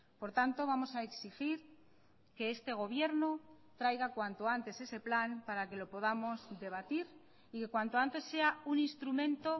por tanto vamos a exigir que este gobierno traiga cuanto antes ese plan para que lo podamos debatir y cuanto antes sea un instrumento